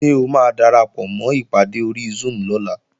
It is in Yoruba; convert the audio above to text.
Ṣé o máa darapọ̀mọ́ ìpàdé ori Zoom lọ́la?